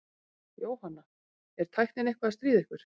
Jóhanna: Er tæknin eitthvað að stríða ykkur?